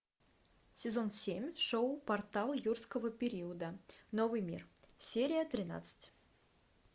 сезон семь шоу портал юрского периода новый мир серия тринадцать